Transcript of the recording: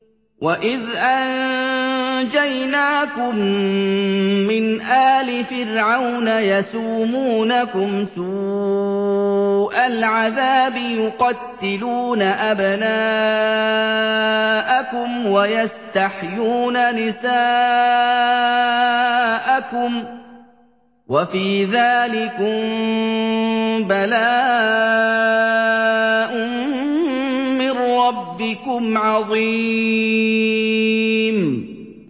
وَإِذْ أَنجَيْنَاكُم مِّنْ آلِ فِرْعَوْنَ يَسُومُونَكُمْ سُوءَ الْعَذَابِ ۖ يُقَتِّلُونَ أَبْنَاءَكُمْ وَيَسْتَحْيُونَ نِسَاءَكُمْ ۚ وَفِي ذَٰلِكُم بَلَاءٌ مِّن رَّبِّكُمْ عَظِيمٌ